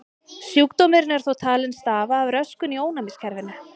Sjúkdómurinn er þó talinn stafa af röskun í ónæmiskerfinu.